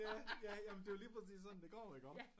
Ja ja men det jo lige præcis sådan det går iggå